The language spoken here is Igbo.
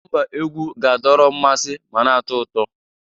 Nọmba egwu ga-adọrọ mmasị ma na-atọ ụtọ.